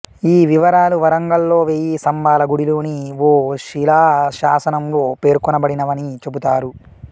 ఈ వివరాలు వరంగల్లో వెయ్యి స్తంభాల గుడిలోని ఓ శిలాశాసనంలో పేర్కొనబడినవని చెబుతారు